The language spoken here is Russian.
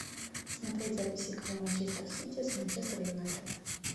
смотреть запись игры манчестер сити с манчестер юнайтед